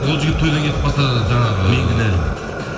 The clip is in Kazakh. ол жігіт тойдан кетіп қалса жаңағы мен кінәлімін